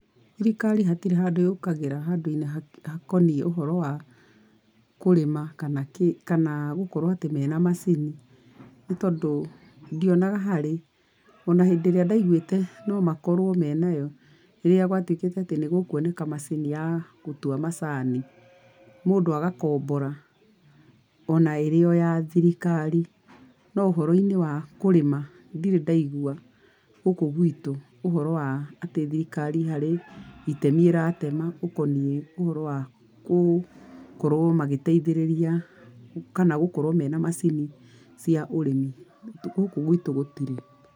Thirikari hatirĩ handũ yũkagĩra handũ-inĩ hakoniĩ ũhoro wa kũrĩma kana kĩ, kana gũkorwo atĩ mena macini, nĩ tondũ ndionaga harĩ. Ona hĩndĩ ĩrĩa ndaiguĩte no makorwo me nayo, rĩrĩa gwatuĩkĩte atĩ nĩ gũkuoneka macini ya gũtua macani, mũndũ agakombora ona ĩrĩ o ya thirikari. No ũhoro-inĩ wa kũrĩma ndirĩ ndaigua gũkũ gwitũ ũhoro wa atĩ thirikari harĩ itemi ĩratema ũkoniĩ ũhoro wa gũkorwo magĩteithĩrĩria, kana gũkorwo mena macini cia ũrĩmi, gũkũ gwitũ gũtirĩ.